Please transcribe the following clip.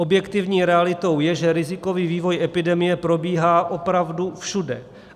Objektivní realitou je, že rizikový vývoj epidemie probíhá opravdu všude.